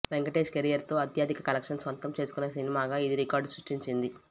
Venkatesh career లో అత్యధిక collections సొంతం చేసుకున్న సినిమాగా ఇది రికార్డు సృష్టించింది